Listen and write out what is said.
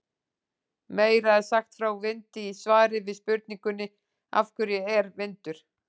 Meira er sagt frá vindi í svari við spurningunni Af hverju er vindur?